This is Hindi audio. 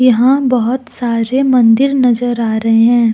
यहां बहुत सारे मंदिर नजर आ रहे हैं।